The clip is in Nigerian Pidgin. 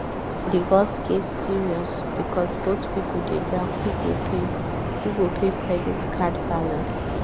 divorce case serious because both people dey drag who go pay who go pay credit card balance.